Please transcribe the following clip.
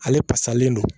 Ale pasalen don